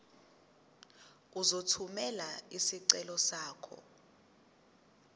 uzothumela isicelo sakho